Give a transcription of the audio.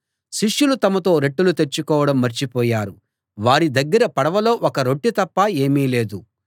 శిష్యులు తమతో రొట్టెలు తెచ్చుకోవడం మర్చిపోయారు వారి దగ్గర పడవలో ఒక రొట్టె తప్ప ఏమీ లేదు